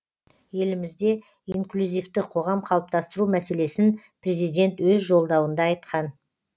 елімізде инклюзивті қоғам қалыптастыру мәселесін президент өз жолдауында айтқан